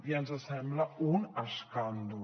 i ens sembla un escàndol